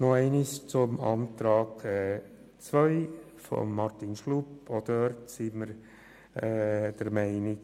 Der Antrag der GSoK-Minderheit II/Schlup will die Frist von sechs Monaten streichen.